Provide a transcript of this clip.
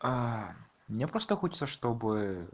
а мне просто хочется чтобы